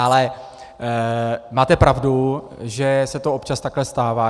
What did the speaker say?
Ale máte pravdu, že se to občas takhle stává.